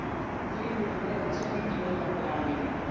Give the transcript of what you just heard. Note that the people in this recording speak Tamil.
free period மாதிரி வச்சு PT மாதிரி பண்ணலாம் அப்படின்னு